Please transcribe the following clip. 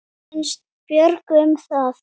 Hvað finnst Björgu um það?